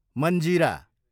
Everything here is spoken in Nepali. मञ्जिरा